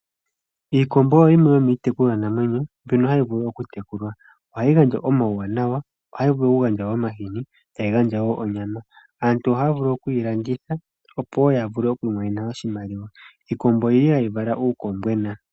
Iikombo oyo yimwe yomiitekulwa namwenyo, ohayi gandja omauwanawa, ohayi vulu wo okugandja omahini tayi gandja wo onyama. Aantu ohaya vulu okuyi landitha opo yavule okumona oshimaluwa. Iikombo ohayi vala uukombwena.